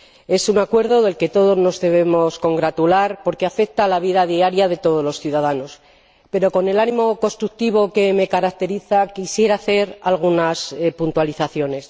Es un acuerdo del que todos nos debemos congratular porque afecta a la vida diaria de todos los ciudadanos, pero, con el ánimo constructivo que me caracteriza, quisiera hacer algunas puntualizaciones.